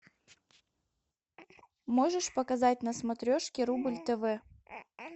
можешь показать на смотрешке рубль тв